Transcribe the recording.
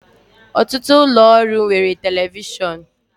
Ọtụtụ ụlọ ọrụ nwere telivishọn